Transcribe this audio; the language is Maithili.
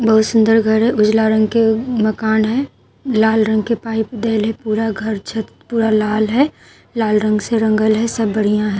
बहुत सुन्दर घर उजला रंग के मकन हे लाल रंग के पाइप देलए है पूरा घर छत पूरा लाल है। लाल रंग से रंगल हे सब बढ़िया हे --